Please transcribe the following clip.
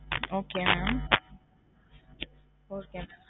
Okay mam okay mam